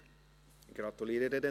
Wir kommen zur Vereidigung.